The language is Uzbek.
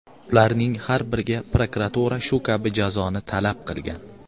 Ularning har biriga prokuratura shu kabi jazoni talab qilgan.